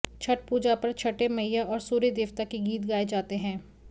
छठ पूजा पर छठे मईया और सूर्य देवता के गीत गाए जाते हैं